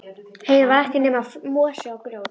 Heiðin var ekkert nema mosi og grjót.